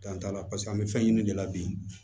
Dan t'a la paseke an bɛ fɛn ɲini de la bi